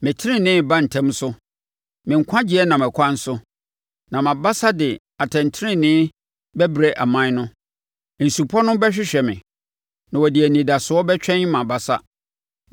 Me tenenee reba ntɛm so, me nkwagyeɛ nam ɛkwan so, na mʼabasa de atɛntenenee bɛbrɛ aman no. Nsupɔ no bɛhwehwɛ me na wɔde anidasoɔ bɛtwɛn mʼabasa.